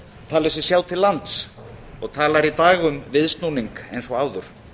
talið sig sjá til lands og talar í dag um viðsnúning eins og áður